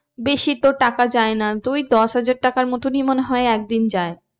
বেশি তোর টাকা যায় না তুই দশ হাজার টাকারই মতনই মনে হয় একদিন যায়।